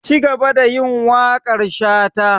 Cigaba da yin waƙar shata!